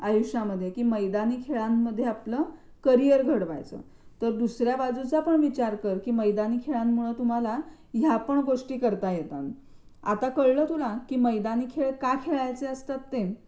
आयुष्यामध्ये मैदानी खेळांमध्ये आपलं करिअर घडवायचं तर दुसऱ्या बाजूचा पण विचार कर कि मैदानी खेळांमुळे तुम्हाला या पण गोष्टी करता येतात. आता कळलं तुला कि मैदानी खेळ का खेळायचे असतात ते?